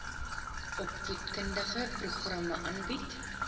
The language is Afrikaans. opvoedkundige programme aanbied